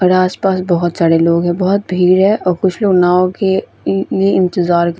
और आस-पास बोहोत सारे लोग है। बोहोत भीड़ है और कुछ लोग नॉव के हम्म इंतज़ार--